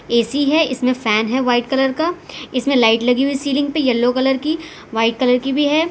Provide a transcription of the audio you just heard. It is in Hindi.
ए_सी है इसमें फैन है व्हाइट कलर का इसमें लाइट लगी हुई सीलिंग पे येलो कलर की व्हाइट कलर की भी है।